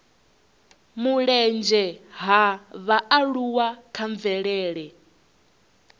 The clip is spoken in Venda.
mulenzhe ha vhaaluwa kha mvelele